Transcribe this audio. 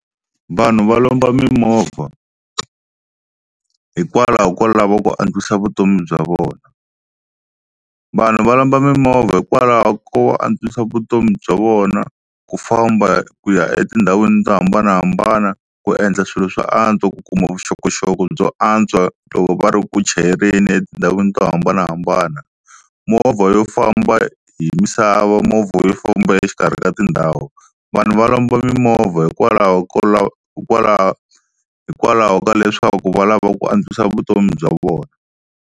Vanhu va lomba mimovha hikwalaho ko lava ku antswisa vutomi bya vona, vanhu va lomba mimovha hikwalaho ko va antswisa vutomi bya vona ku famba ku ya etindhawini to hambanahambana, ku endla swilo swo antswa, ku kuma vuxokoxoko byo antswa loko va ri ku chayeleni etindhawini to hambanahambana, movha yo famba hi misava, movha yo famba exikarhi ka tindhawu vanhu va lomba mimovha hikwalaho hikwalaho hikwalaho ka leswaku va lava ku antswisa vutomi bya vona.